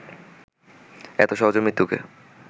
এত সহজে মৃত্যুকে